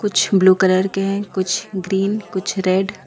कुछ blue colour के है कुछ ग्रीन कुछ रेड --